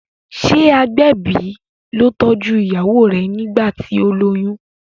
ṣe agbẹbi ló tọjú ìyàwó rẹ nigbati o loyún?